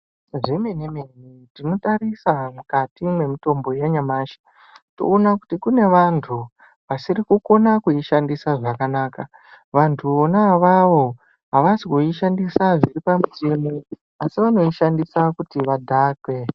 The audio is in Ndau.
Zvemene mene tinotarisa mukati mwemutotbo yanyamashi toona kuti kune vantu vasiri kukona kuishandisa zvakanaka, vantu vona avavo abasi kuishandisa zviripamutemo asi vanoishandisa kuti vadhakwe.